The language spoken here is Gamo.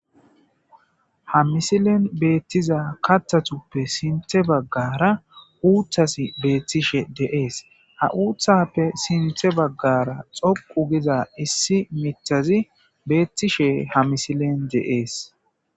Ha misilen beettiza kattatuppe sinthe baggara uuthas beettishe deees ha uuthappe sinthe baggara xoqu giza issi mitazi beettishe ha misilen de7ees.